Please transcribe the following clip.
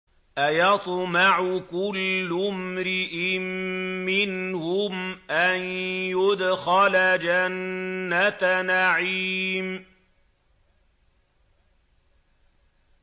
أَيَطْمَعُ كُلُّ امْرِئٍ مِّنْهُمْ أَن يُدْخَلَ جَنَّةَ نَعِيمٍ